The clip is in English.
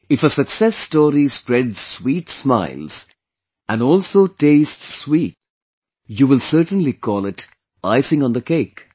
If a success story spreads sweet smiles, and also tastes sweet, you will certainly call it icing on the cake